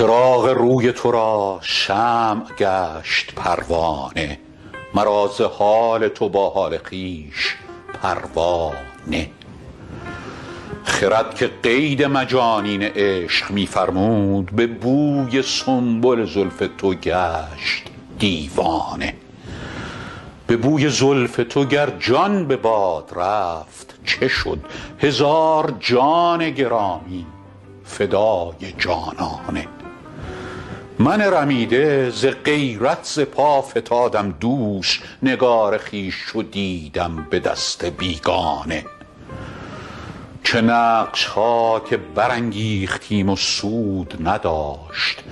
چراغ روی تو را شمع گشت پروانه مرا ز حال تو با حال خویش پروا نه خرد که قید مجانین عشق می فرمود به بوی سنبل زلف تو گشت دیوانه به بوی زلف تو گر جان به باد رفت چه شد هزار جان گرامی فدای جانانه من رمیده ز غیرت ز پا فتادم دوش نگار خویش چو دیدم به دست بیگانه چه نقش ها که برانگیختیم و سود نداشت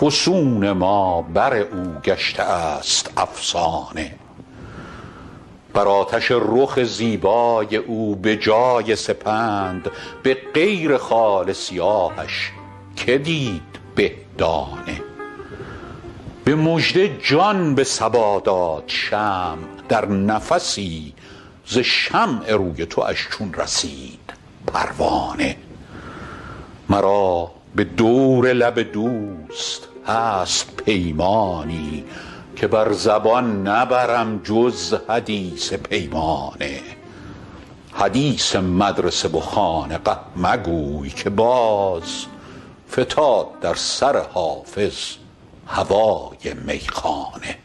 فسون ما بر او گشته است افسانه بر آتش رخ زیبای او به جای سپند به غیر خال سیاهش که دید به دانه به مژده جان به صبا داد شمع در نفسی ز شمع روی تواش چون رسید پروانه مرا به دور لب دوست هست پیمانی که بر زبان نبرم جز حدیث پیمانه حدیث مدرسه و خانقه مگوی که باز فتاد در سر حافظ هوای میخانه